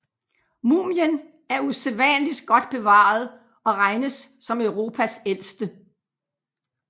Mumien er usædvanligt godt bevaret og regnes som Europas ældste